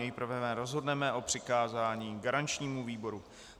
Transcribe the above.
Nejprve rozhodneme o přikázání garančnímu výboru.